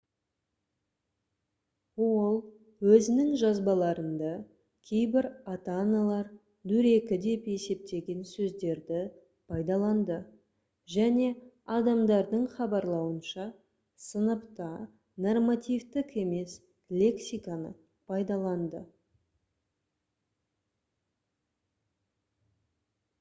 ол өзінің жазбаларында кейбір ата-аналар дөрекі деп есептеген сөздерді пайдаланды және адамдардың хабарлауынша сыныпта нормативтік емес лексиканы пайдаланды